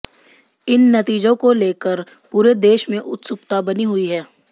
इन नतीजों को लेकर पूरे देश में उत्सुकता बनी हुई है